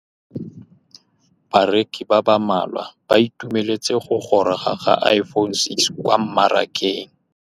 Bareki ba ba malwa ba ituemeletse go gôrôga ga Iphone6 kwa mmarakeng.